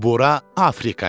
Bura Afrika idi.